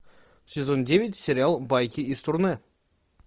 сезон девять сериал байки из турне